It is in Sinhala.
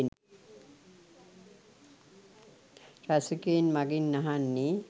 රසිකයින් මගෙන් අහන්නෙ